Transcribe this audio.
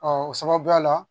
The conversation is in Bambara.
o sababuya la